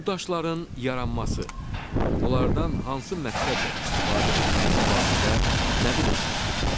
Bu daşların yaranması, onlardan hansı məqsədlə istifadə edilməsi barədə nə bilirsiz?